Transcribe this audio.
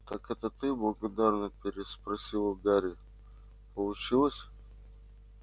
так это ты благодарно переспросил гарри получилось